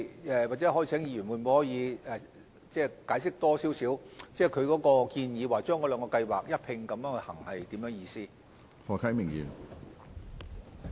就此，也許可否請議員再解釋，建議把兩項計劃一併推行是甚麼意思呢？